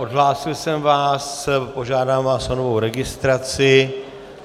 Odhlásil jsem vás, požádám vás o novou registraci.